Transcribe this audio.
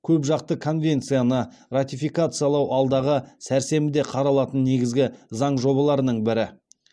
көпжақты конвенцияны ратификациялау алдағы сәрсенбіде қаралатын негізгі заң жобаларының бірі